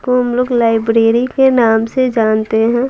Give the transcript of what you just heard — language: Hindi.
को हम लोग लाइब्रेरी के नाम से जानते हैं।